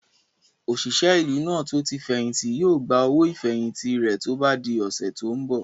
Òṣìṣẹ́ ìlú náà tó tí fẹ̀hìntì yóò gba owó ìfẹ̀hìntì rẹ̀ tó bá di ọ̀sẹ̀ tó n bọ̀